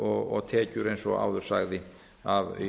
og tekjur eins og áður sagði af